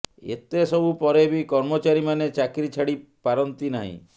ଏତେ ସବୁ ପରେ ବି କର୍ମଚାରୀମାନେ ଚାକିରି ଛାଡ଼ି ପାରନ୍ତି ନାହିଁ